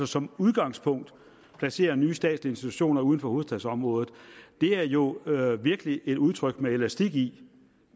som udgangspunkt at placere nye statslige institutioner uden for hovedstadsområdet det er jo virkelig et udtryk med elastik i